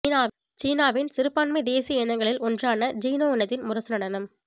சீனாவின் சிறுபான்மை தேசிய இனங்களில் ஒன்றான ஜிநொ இனத்தின் முரசு நடனம்